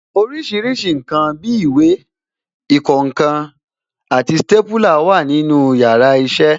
Orísìírísìí ǹkan bí ìwé, ìkọǹkan, stépúlà wà ní yàrá iṣẹ́